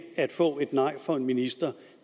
at få et nej fra en minister